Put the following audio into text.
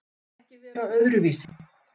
Vill ekki vera öðruvísi.